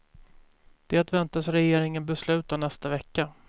Det väntas regeringen besluta nästa vecka.